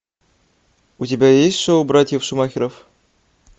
у тебя есть шоу братьев шумахеров